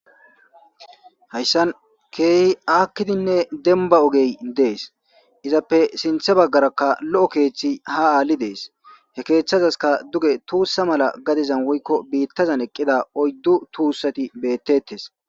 hayssan keehi aakkidinne denba ogey dees izappe sinthe baggarakka lo7o keeththi he aalli dees he keeththazaska duge tuussa mala gadizan woykko biittazan eqqida oyddu tuussati beettettes